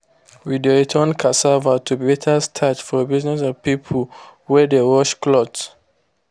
we dey turn cassava to better starch for business of people wey de wash clothes